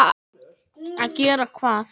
Að gera hvað?